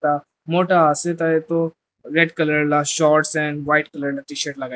mota ase tai tu red colour laga shorts and white colour la tshirt lagai se.